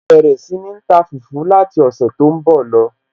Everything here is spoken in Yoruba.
màá bẹ̀rẹ̀ sí ní ta fùfú láti ọ̀sẹ̀ tó ń bọ̀ lọ